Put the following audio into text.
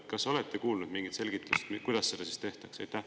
Kas olete kuulnud mingit selgitust, kuidas seda siis tehakse?